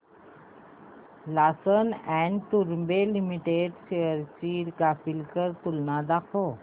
Larsen and टुर्बो limited shares ची graphical तुलना दाखव